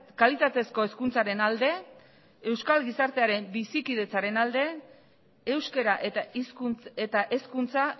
kalitatezko hezkuntzaren alde euskal gizartearen bizikidetzaren alde euskara eta hizkuntz eta hezkuntza